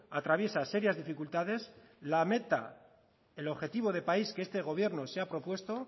atraviesa serias dificultades la meta el objetivo de país que este gobierno se ha propuesto